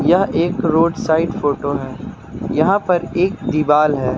यह एक road side photo है यहां पर एक दीवाल है।